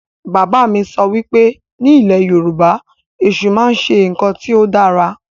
Bàbá mi sọ wípé ni ilẹ̀ Yorùbá, Èṣù máa ń ṣe ǹkan tí ó dára